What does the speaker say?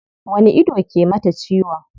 Wani ido ke mata ciwon?